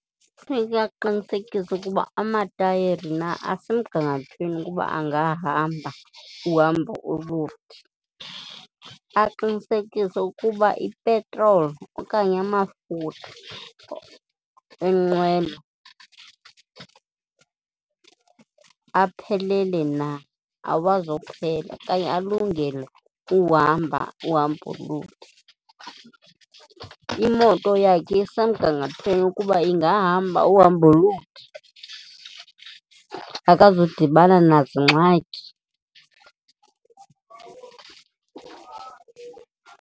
Kufuneke aqinisekise ukuba amatayeri na asemgangathweni ukuba angahamba uhambo ulude, aqinisekise ukuba ipetroli okanye amafutha enqwelo aphelele na, awazi kuphela okanye alungele uhamba uhambo olude. Imoto yakhe isemgangathweni ukuba ingahamba uhambo olude, abazudibana nazingxaki?